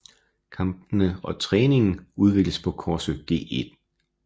Kampene og træningen afvikles på Korsør Gl